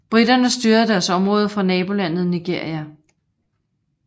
Briterne styrede deres område fra nabolandet Nigeria